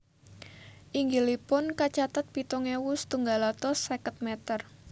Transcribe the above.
Inggilipun kacatet pitung ewu setunggal atus seket meter